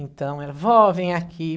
Então, ela... Vó, vem aqui.